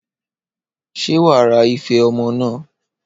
Ṣé wàá ra ife ọmọ naa?